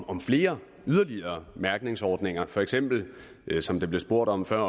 om flere og yderligere mærkningsordninger for eksempel som der blev spurgt om før